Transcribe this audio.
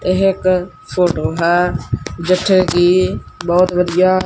ਏਹ ਇੱਕ ਫ਼ੋਟੋ ਹੈ ਜਿੱਥੇ ਕੀ ਬੋਹੁਤ ਵਧੀਆ--